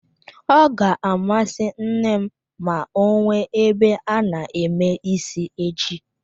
Ọ ga-amasị nne m ma ọ nwee ebe a na-eme ísí echi